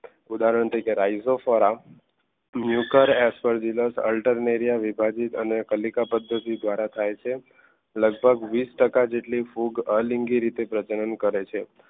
ઉદાહરણ તરીકે રાઈઝોફોરા ન્યુકર અલ્ટરનેરિયા વિભાજિત અને કલિકા પદ્ધતિ દ્વારા થાય છે લગભગ વીસ ટકા જેટલી ફૂગ અલિંગી તરીકે પ્રજનન કરે છે.